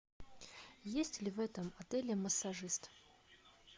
есть ли в этом отеле массажист